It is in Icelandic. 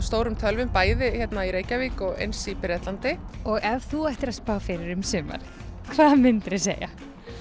stórum tölvum bæði hérna í Reykjavík og eins í Bretlandi ef þú ættir að spá fyrir um sumarið hvað myndir þú segja